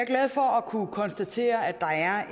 glad for at kunne konstatere at der er